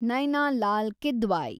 Naina Lal Kidwai